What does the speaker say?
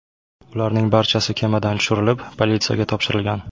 Ularning barchasi kemadan tushirilib, politsiyaga topshirilgan.